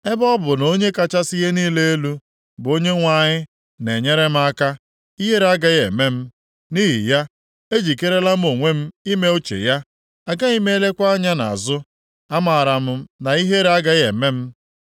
Ebe ọ bụ na Onye kachasị ihe niile elu, bụ Onyenwe anyị na-enyere m aka, ihere agaghị eme m. Nʼihi ya, ejikerela m onwe m ime uche ya; agaghị m elekwa anya nʼazụ, a maara m na ihere agaghị eme m.